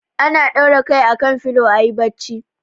Ana ɗaura kai akan filo a ayi bacci.